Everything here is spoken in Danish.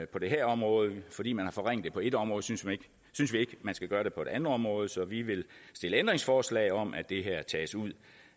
på det her område fordi man har forringet det på et område synes vi ikke man skal gøre det på et andet område så vi vil stille ændringsforslag om at det her tages ud